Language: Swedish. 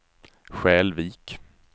Skälvik